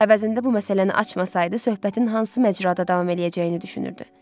Əvəzində bu məsələni açmasaydı, söhbətin hansı məcrada davam eləyəcəyini düşünürdü.